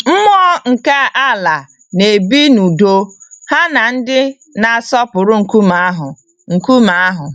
Mmụọ nke ala na-ebi n'udo ha na ndị na-asọpụrụ nkume ahụ. nkume ahụ.